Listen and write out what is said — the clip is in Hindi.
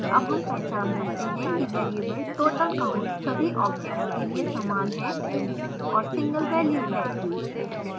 अब हम पहचान सकते हैं कि वैरिएबलtotal count सभी objects के लिए समान है और single value है